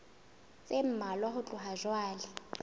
tse mmalwa ho tloha jwale